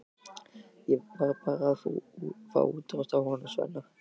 Ég var að fá útrás á honum Svenna.